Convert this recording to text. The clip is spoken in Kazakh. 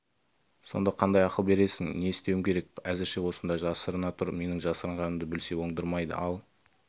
сонда қандай ақыл бересің не істеуім керек әзірше осында жасырына тұр менің жасырғанымды білсе оңдырмайды ал